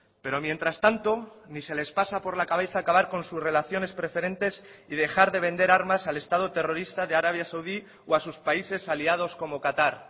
pero mientras tanto ni se les pasa por la cabeza acabar con sus relaciones preferentes y dejar de vender armas al estado terrorista de arabia saudí o a sus países aliados como qatar